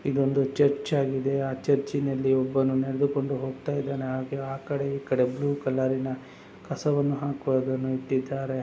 ಇದೊಂದು ಚರ್ಚ್ ಆಗಿದೆ ಆ ಚರ್ಚಿನಲ್ಲಿ ಒಬ್ಬನು ನಡೆದುಕೊಂಡು ಹೋಗುತ್ತಿದ್ದಾನೆ ಹಾಗೆ ಆಕಡೆ ಈಕಡೆ ಬ್ಲೂ ಕಲರಿನ ಕಸವನ್ನು ಹಾಕುವುದನ್ನು ಇಟ್ಟಿದ್ದಾರೆ.